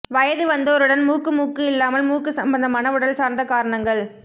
வயது வந்தோருடன் மூக்கு மூக்கு இல்லாமல் மூக்கு சம்பந்தமான உடல்சார்ந்த காரணங்கள்